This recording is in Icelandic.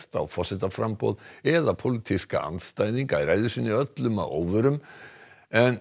á forsetaframboð eða pólitíska andstæðinga öllum að óvörum en